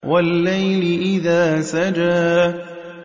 وَاللَّيْلِ إِذَا سَجَىٰ